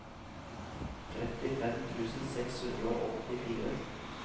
trettifem tusen seks hundre og åttifire